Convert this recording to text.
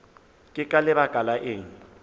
ke ka baka la eng